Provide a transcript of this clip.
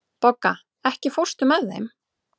Bogga, ekki fórstu með þeim?